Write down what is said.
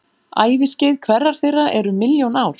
Æviskeið hverrar þeirra er um milljón ár.